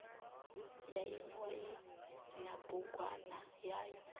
ya emia ina bugwana yayo